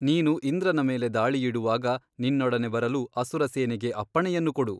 ನೀನು ಇಂದ್ರನ ಮೇಲೆ ದಾಳಿಯಿಡುವಾಗ ನಿನ್ನೊಡನೆ ಬರಲು ಅಸುರ ಸೇನೆಗೆ ಅಪ್ಪಣೆಯನ್ನು ಕೊಡು?